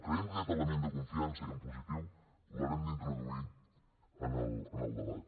creiem que aquest element de confiança i en positiu l’haurem d’introduir en el debat